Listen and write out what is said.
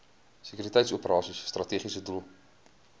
sekuriteitsoperasies strategiese doel